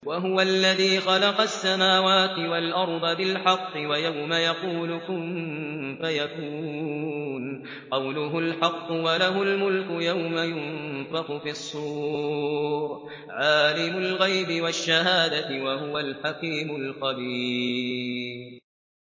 وَهُوَ الَّذِي خَلَقَ السَّمَاوَاتِ وَالْأَرْضَ بِالْحَقِّ ۖ وَيَوْمَ يَقُولُ كُن فَيَكُونُ ۚ قَوْلُهُ الْحَقُّ ۚ وَلَهُ الْمُلْكُ يَوْمَ يُنفَخُ فِي الصُّورِ ۚ عَالِمُ الْغَيْبِ وَالشَّهَادَةِ ۚ وَهُوَ الْحَكِيمُ الْخَبِيرُ